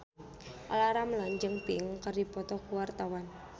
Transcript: Olla Ramlan jeung Pink keur dipoto ku wartawan